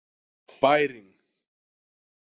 Bæring